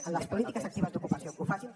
a les polítiques actives d’ocupació que ho facin